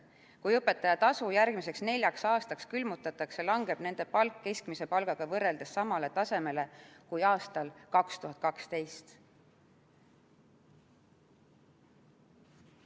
Kui õpetaja töötasu järgmiseks neljaks aastaks külmutatakse, langeb õpetaja palk keskmise palgaga võrreldes samale tasemele kui aastal 2012.